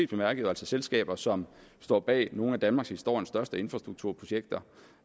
bemærket selskaber som står bag nogle af danmarkshistoriens største infrastrukturprojekter